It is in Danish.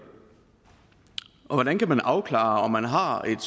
hvordan kan man afklare om man har et